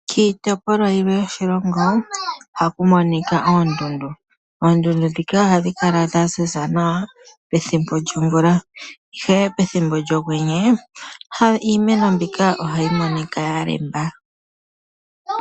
Kiitopolwa yimwe yoshilongo ohaku monika oondundu. Oondundu ndhika ohadhi kala dhaziza nawa pethimbo lyomvula ihe pethimbo lyokwenye iimeno mbyoka ohayi monika ya lemba.